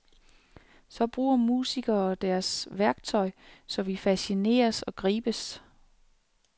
Så bruger musikerne deres værktøj, så vi fascineres og gribes.